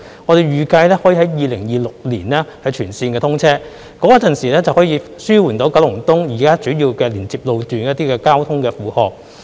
我們預計六號幹線可於2026年全線通車，屆時可以紓緩九龍東現有主要連接路段的一些交通負荷。